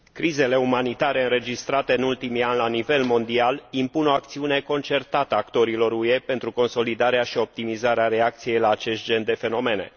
Crizele umanitare înregistrate în ultimii ani la nivel mondial impun o acțiune concertată a actorilor UE pentru consolidarea și optimizarea reacției la acest gen de fenomene.